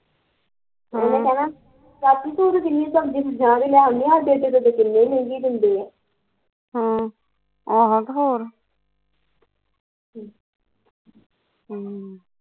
ਉਹਨਾਂ ਕਹਿਣਾ ਚਾਚੀ ਤੂੰ ਤੇ ਏਥੇ ਕਿੰਨੀ ਸਸਤੀ ਲੈ ਆਉਂਦੀ ਆ ਸਾਡੇ ਥੇ ਗੱਟੇ ਬੜੀ ਮਹਿੰਗੀ ਦਿੰਦੇ ਆ ਹਮ ਹਮ